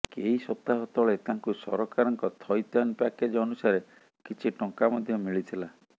କେଇସପ୍ତାହ ତଳେ ତାଙ୍କୁ ସରକାରଙ୍କ ଥଇଥାନ ପ୍ୟାକେଜ ଅନୁସାରେ କିଛି ଟଙ୍କା ମଧ୍ୟ ମିଳିଥିଲା